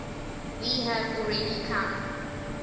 we have already come